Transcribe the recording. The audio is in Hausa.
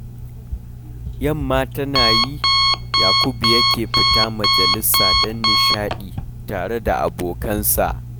Yamma tana yi, Yakubu yake fita majalisa don nishaɗi tare da abokansa.